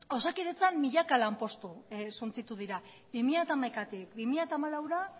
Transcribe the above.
osakidetzan milaka lanpostu suntsitu dira bi mila hamaikatik bi mila hamalaura